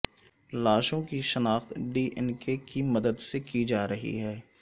لاشوں کی شناخت D N کے کی مدد سےکی جارہی ہے